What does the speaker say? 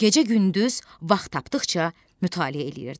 Gecə-gündüz vaxt tapdıqca mütaliə eləyirdim.